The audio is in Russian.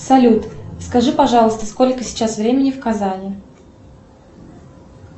салют скажи пожалуйста сколько сейчас времени в казани